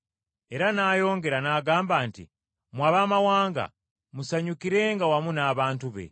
Era n’ayongera n’agamba nti: “Mmwe Abaamawanga musanyukirenga wamu n’abantu be.”